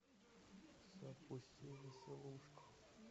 запусти веселушку